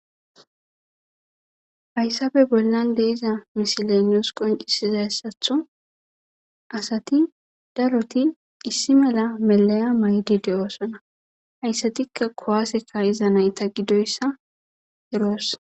hayssabe bollan de iza mishileniyos qoncisizassatho asati daroti issi mela melaya maydi de7oosona hayssatikka kowaaseka iza nayta gidoyssa eroos